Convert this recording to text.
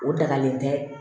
O dagalen tɛ